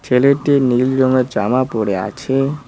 নীল রঙের জামা পরে আছে।